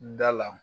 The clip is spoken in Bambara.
Da la